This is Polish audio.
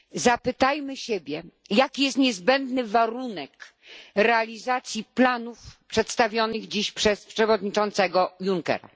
Zapytajmy siebie, jaki jest niezbędny warunek realizacji planów przedstawionych dziś przez przewodniczącego Junckera?